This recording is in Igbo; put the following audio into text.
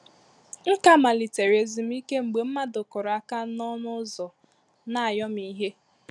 M ka malitere ezumike mgbe mmadụ kụrụ áká na ọnụ ụzọ na ayọmihe